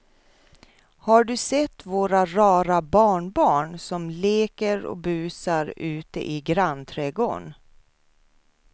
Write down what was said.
Har du sett våra rara barnbarn som leker och busar ute i grannträdgården!